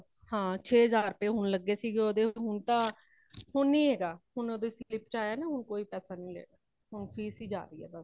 ਹਾਂ ਛੇ ਹਜ਼ਾਰ ਰੁਪਈਏ ਹੁਣ ਲੱਗੇ ਸੀਗੇ ਉਦੇ , ਹੁਣ ਤਾ ਹੁਣ ਨਹੀ ਹੇਗਾ ,ਹੁਣ ਉਦ੍ਹੇ slip ਵਿਚ ਆਯਾ ਨਾ ਹੁਣ ਕੋਈ ਪੈਸਾ ਨਹੀਂ ਲੱਗਾ , fees ਹੀ ਜਾ ਰਹੀ ਹੇ ਬੱਸ।